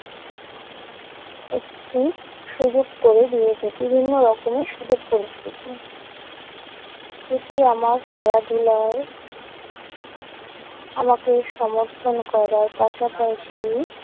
একটি সুযোগ করে দিয়েছে। বিভিন্ন রকমের সুযোগ করে দিয়েছে। এটি আমার খেলাধুলায় আমাকে সমর্থন করার পাশাপাশি